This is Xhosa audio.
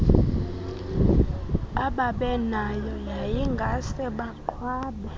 ababenayo yayingase baqhwabe